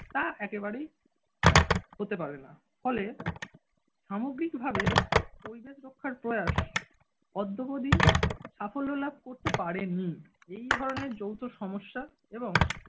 তা একেবারেই হতে পারে না ফলে সামগ্রিকভাবে পরিবেশ রক্ষার প্রয়াস অদ্যপদী সাফল্য লাভ করতে পারেনি এই ধরনের যৌথ সমস্যা এবং